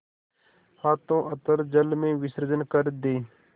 हाथों अतल जल में विसर्जन कर दे